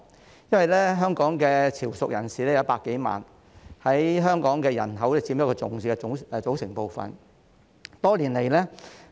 香港有100多萬名潮籍人士，是香港人口中一個重要的組成部分。